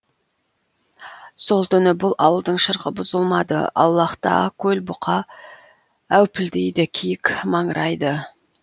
сол түні бұл ауылдың шырқы бұзылмады аулақта көлбұқа әупілдейді киік маңырайды